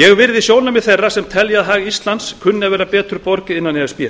ég virði sjónarmið þeirra sem telja að hag íslands kunni að vera betur borgið innan e s b